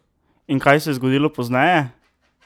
In kaj se je zgodilo pozneje?